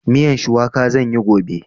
Miyan shuwaka zan yi gobe.